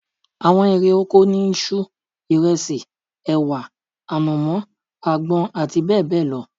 Àwọn erè oko ni isu, ìresì, èwà, ànàmọ́, àgbọn àti bẹ́ẹ̀bẹ́ẹ̀ lọ